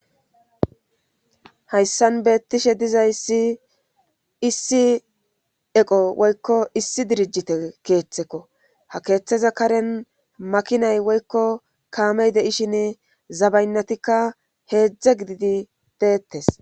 Hayssan beettishe dizaysi issi eqo woykko issi dirijite keeththekko ha keeththeza karen makinay woykko kaamey deishin zabaynnatikka heedzdze gididi deettes.